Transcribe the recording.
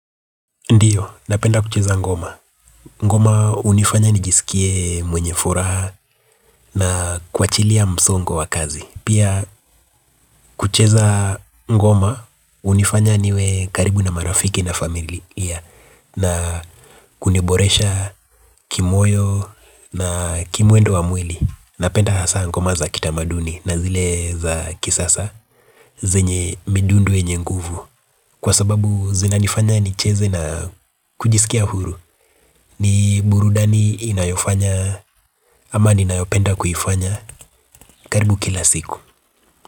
Ndiyo, napenda kucheza ngoma. Ngoma hunifanya nijisikie mwenye furaha na kuwachilia msongo wa kazi. Pia kucheza ngoma hunifanya niwe karibu na marafiki na familia na kuniboresha kimoyo na kimwendo wa mwili. Napenda hasa ngoma za kitamaduni na zile za kisasa. Zenye midundo yenye nguvu kwa sababu zina nifanya nicheze na kujisikia huru. Ni burudani inayofanya ama ninayopenda kuifanya karibu kila siku.